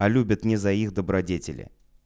а любят ли за их добродетели